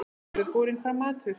Nú verður borinn fram matur.